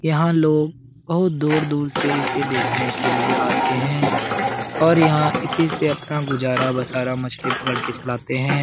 यहाँ लोग बहुत दूर-दूर से इसे देखने के लिए आते है और यहाँ इसी से अपना गुजारा बसारा मछली पकड़ के चलाते हैं ।